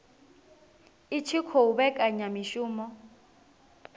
i tshi khou vhekanya mishumo